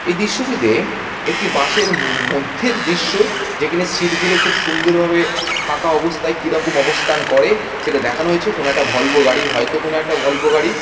এ দৃশ্যটিতে একটি বাস এর মধ্যের দৃশ্য যেকেনে সিট গুলো খুব সুন্দর ভাবে ফাঁকা অববস্থায় কিরকম অবস্থান করে সেটা দেখানো হয়েছে কোনো একটা ভলভো গাড়ি হয়তো কোনো একটা ভলভো গাড়ি।